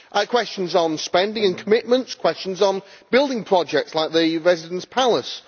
questions on spending and commitments, questions on building projects like the Residence Palace